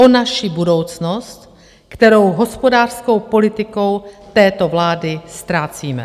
O naši budoucnost, kterou hospodářskou politikou této vlády ztrácíme.